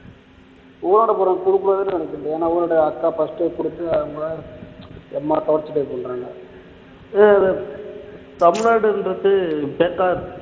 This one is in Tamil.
போறவங்க குடுக்க கூடாதுன்னு நினைக்கிறது ஏன்னா இவரோட அக்கா first உ குடுத்து அவங்க செம torture பண்றாங்க தமிழ்நாடுன்றது